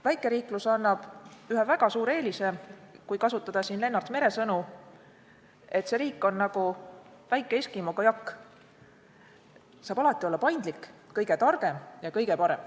Väikeriigiks olemine annab ühe väga suure eelise: kui kasutada Lennart Mere sõnu, siis see riik on nagu väike eskimo kajak, saab alati olla paindlik, kõige targem ja kõige parem.